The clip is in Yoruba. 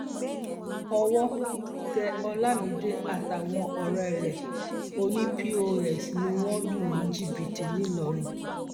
owó tẹ olamide àtàwọn ọrẹ ẹ òní pọsí ni wọn lù ní jìbìtì ńlọrọìn